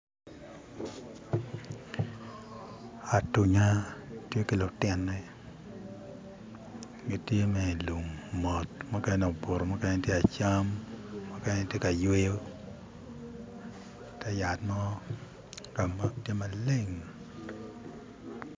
Atunya tye ki lutine gitye mere i lum mot mukene obutu, mukene tye kacam, mukene tye ka yweyo i ti yat mo ka ma tye maleng.